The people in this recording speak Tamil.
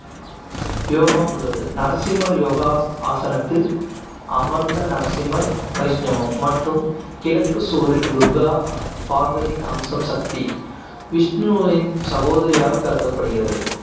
யோகம் உள்ளது. நரசிம்ம யோகா ஆசனத்தில் அமர்ந்த நரசிம்மர், வைஷ்ணவம் மற்றும் கிழக்கு சுவரில் துர்கா பார்வதியின் அம்சம், சக்தி விஷ்ணுவின் சகோதரியாக கருதப்படுகிறது.